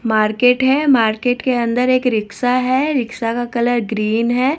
Market है market के अंदर एक रिक्शा है रिक्शा का कलर ग्रीन है।